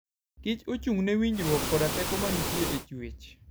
kich ochung'ne winjruok koda teko ma nitie e chwech.